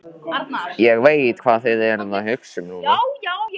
Ég veit, hvað þið eruð að hugsa um núna.